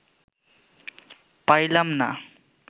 পারিলাম না